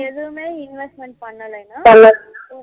நமக்கு எதுவுமே investment பண்ணலனா